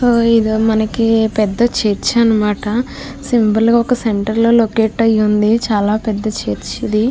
ఆ ఇది మనకి పెద్ధ చర్చి అనమాట సింబల్ సెంటర్ లో లొకేట్ అయి ఉంది చాలా పెద్ధ చర్చి ఇది.